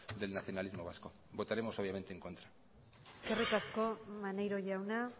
del nacionalismo vasco votaremos obviamente en contra eskerrik asko maneiro jauna